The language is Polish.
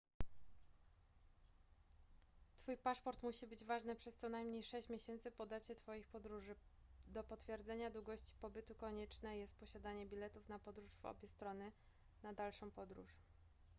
twój paszport musi być ważny przez co najmniej sześć miesięcy po dacie twoich podróży do potwierdzenia długości pobytu konieczne jest posiadanie biletów na podróż w obie strony / na dalszą podróż